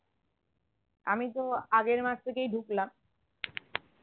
আমিতো আগের মাস থেকেই ঢুকলাম